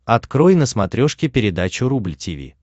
открой на смотрешке передачу рубль ти ви